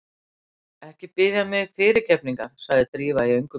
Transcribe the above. Ekki biðja mig fyrirgefningar- sagði Drífa í öngum sínum.